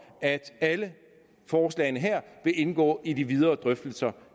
at alle forslagene her vil indgå i de videre drøftelser